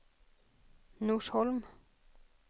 Norsholm